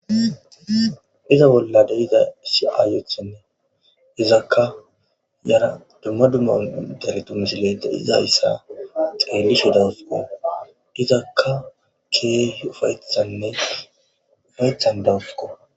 Iza bolla dizzay issi ayetti yara dumma dumma misiletti de'izaysa xelishsheni de'awusukko izakka keehi ufayiththizanne lo'eththan dawusukko.